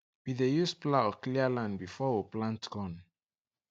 we dey use plough clear land before we plant corn